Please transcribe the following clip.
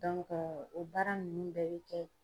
o baara ninnu bɛɛ bɛ kɛ